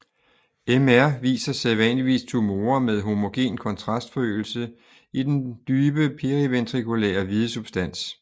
MR viser sædvanligvis tumorer med homogen kontrastforøgelse i den dybe periventrikulære hvide substans